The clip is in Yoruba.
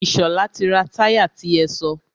Ìṣọ̀lá ti ra táyà ti ẹ sọ.